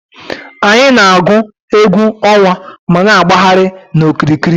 Anyị na-agụ egwú ọnwa ma na-agbagharị n'okiriki.